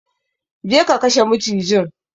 Go and kill the snake!